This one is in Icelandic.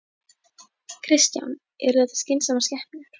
Kristján: Eru þetta skynsamar skepnur?